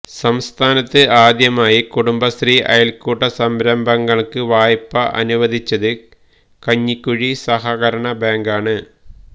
സംസ്ഥാനത്ത് ആദ്യമായി കുടുംബശ്രീ അയല്ക്കൂട്ട സംരംഭങ്ങള്ക്ക് വായ്പ അനുവദിച്ചത് കഞ്ഞിക്കുഴി സഹകരണ ബാങ്കാണ്